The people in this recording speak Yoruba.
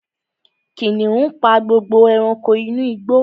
Kìnìún pa gbogbo ẹranko inú igbó